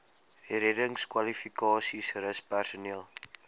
reddingskwalifikasies rus personeel